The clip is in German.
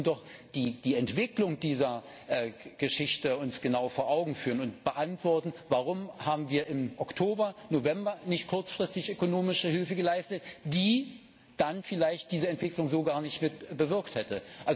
Aber wir müssen uns doch die Entwicklung dieser Geschichte genau vor Augen führen und beantworten, warum wir im Oktober November nicht kurzfristig ökonomische Hilfe geleistet haben, die dann vielleicht diese Entwicklung so gar nicht mit bewirkt hätte.